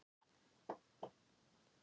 Hún myndi fyrirlíta hann um aldur og ævi!